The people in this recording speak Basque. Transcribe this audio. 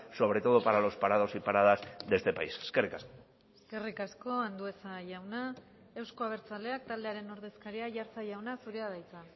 sobre todo para los parados y paradas de este país eskerrik asko eskerrik asko andueza jauna euzko abertzaleak taldearen ordezkaria aiartza jauna zurea da hitza